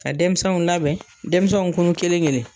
Ka denmisɛnw labɛn, denmisɛnw kunnu kelen kelen